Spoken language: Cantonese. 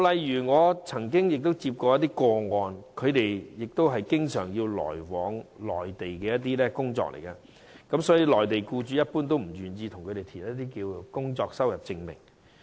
以我曾經接觸的個案為例，他們經常要來往內地工作，而內地僱主一般不願為他們填寫工作收入證明。